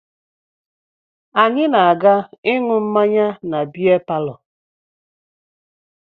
Anyị na-aga ịṅụ mmanya na bịa palọ